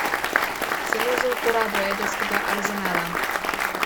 Celo z uporabo jedrskega arzenala.